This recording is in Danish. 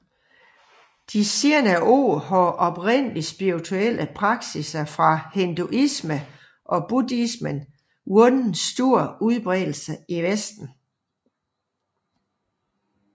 De senere år har oprindeligt spirituelle praksiser fra hinduismen og buddhismen vundet stor udbredelse i Vesten